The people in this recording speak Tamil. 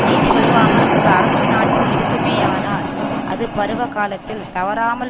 நீதி வழுவாமல் ஓரு அரசு நாட்டில் இருக்குமேயானால் அது பருவகாலத்தில் தவறாமல்